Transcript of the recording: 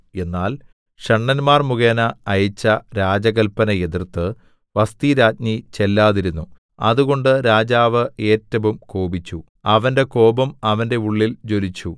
എന്നാൽ ഷണ്ഡന്മാർ മുഖേന അയച്ച രാജകല്പന എതിർത്ത് വസ്ഥിരാജ്ഞി ചെല്ലാതിരുന്നു അതുകൊണ്ട് രാജാവ് ഏറ്റവും കോപിച്ചു അവന്റെ കോപം അവന്റെ ഉള്ളിൽ ജ്വലിച്ചു